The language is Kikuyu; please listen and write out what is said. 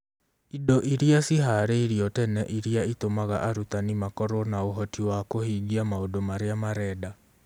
indo iria ciĩhaarĩirio tene iria itũmaga arutani makorũo na ũhoti wa kũhingia maũndũ marĩa marenda